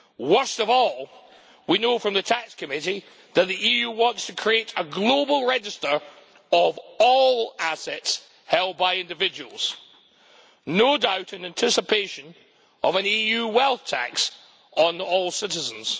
Worst of all, we know from the tax committee that the EU wants to create a global register of all assets held by individuals, no doubt in anticipation of an EU wealth tax on all citizens.